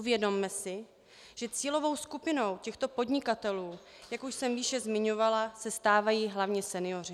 Uvědomme si, že cílovou skupinou těchto podnikatelů, jak už jsem výše zmiňovala, se stávají hlavně senioři.